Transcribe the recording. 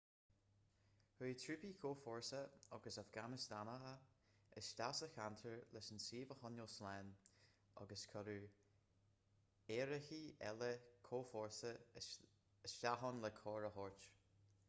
chuaigh trúpaí comhfhórsa agus afganastánacha isteach sa cheantar leis an suíomh a choinneáil slán agus cuireadh aerárthaí eile comhfhórsa isteach ann le cabhair a thabhairt